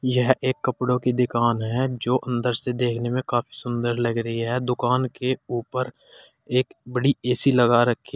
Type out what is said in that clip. यह एक कपड़ों की दिकान है जो अंदर से देखने में काफी सुंदर लग रही है। दुकान के ऊपर एक बड़ी ए_सी लगा रखी --